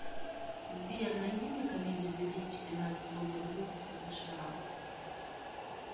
сбер найди мне комедию две тысячи тринадцатого года выпуска в сша